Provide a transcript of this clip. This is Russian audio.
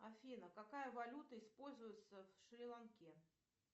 афина какая валюта используется в шри ланке